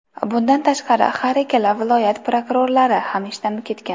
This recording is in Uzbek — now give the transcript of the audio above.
Bundan tashqari, har ikkala viloyat prokurorlari ham ishdan ketgan.